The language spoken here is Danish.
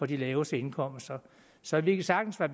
de laveste indkomster så vi kan sagtens være